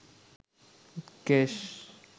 কেশ